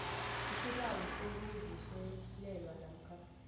isibawo sokuvuselelwa namkha